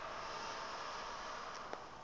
nkani zakho ezi